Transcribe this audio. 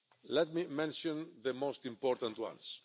Let me mention the most important ones.